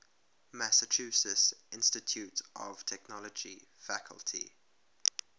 massachusetts institute of technology faculty